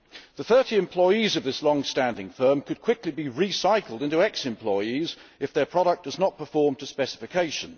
The 30 employees of this longstanding firm could quickly be recycled into ex employees if their product does not perform to specification.